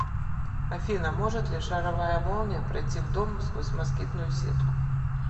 афина может ли шаровая молния пройти в дом сквозь москитную сетку